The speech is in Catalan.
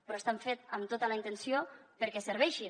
però estan fets amb tota la intenció perquè serveixin